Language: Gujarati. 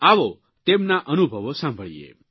આવો તેમના અનુભવો સાંભળીએ